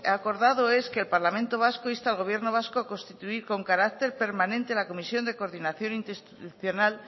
acordado es que el parlamento vasco inste al gobierno vasco a constituir con carácter permanente la comisión de coordinación interinstitucional